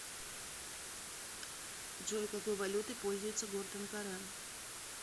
джой какой валютой пользуется город анкара